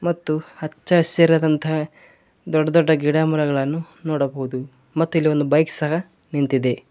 ಮತ್ತು ಹಚ್ಚಹಸಿರದಂತಹ ದೊಡ್ ದೊಡ್ಡ ಗಿಡ ಮರಗಳನ್ನು ನೋಡಬಹುದು ಮತ್ತು ಇಲ್ಲಿ ಒಂದು ಬೈಕ್ ಸಹ ನಿಂತಿದೆ.